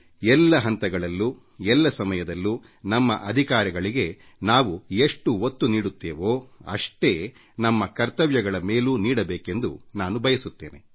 ಎಲ್ಲ ಹಂತಗಳಲ್ಲೂ ಎಲ್ಲ ಸಮಯದಲ್ಲೂ ನಮ್ಮ ಹಕ್ಕುಗಳಿಗೆ ನಾವು ಎಷ್ಟು ಒತ್ತು ನೀಡುತ್ತೇವೋ ಅಷ್ಟೇ ಒತ್ತನ್ನು ನಮ್ಮ ಕರ್ತವ್ಯಗಳ ಮೇಲೂ ನೀಡಬೇಕೆಂದು ನಾನು ಭಾವಿಸುತ್ತೇನೆ